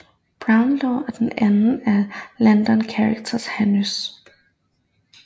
Brownlow og den anden af Landon Carter Haynes